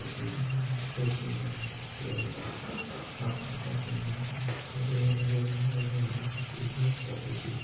तस्वीर में हमे दिखाई दे रहा हे की यह एक यहा पर खाफी आदमी खड़े हुए नजर आ रहे है।